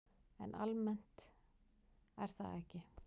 En almennt er það ekki.